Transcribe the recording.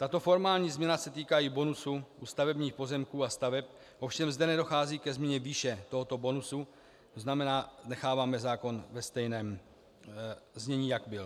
Tato formální změna se týká i bonusu u stavebních pozemků a staveb, ovšem zde nedochází ke změně výše tohoto bonusu, to znamená, necháváme zákon ve stejném znění, jak byl.